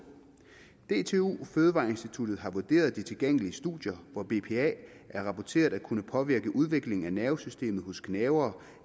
dtu fødevareinstituttet har vurderet de tilgængelige studier hvor bpa er rapporteret at kunne påvirke udviklingen af nervesystemet hos gnavere